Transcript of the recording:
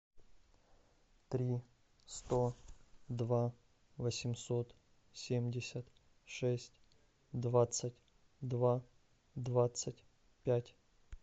три сто два восемьсот семьдесят шесть двадцать два двадцать пять